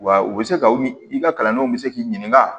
Wa u bɛ se ka u mi i ka kalandenw bɛ se k'i ɲininka